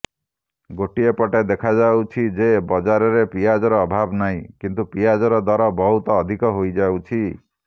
ଗୋଟିଏ ପଟେ ଦେଖାଯାଉଛି ଯେ ବଜାରରେ ପିଆଜର ଅଭାବ ନାହିଁ କିନ୍ତୁ ପିଆଜର ଦର ବହୁତ ଅଧିକ ହୋଇଯାଉଛି